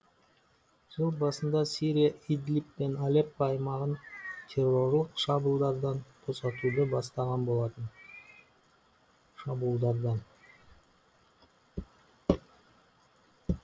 жыл басында сирия идлиб пен алеппо аймағын террорлық шабылдардан босатуды бастаған болатын